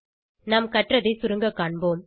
நாம் கற்றதை சுருங்க காண்போம்